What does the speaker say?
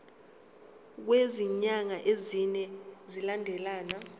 kwezinyanga ezine zilandelana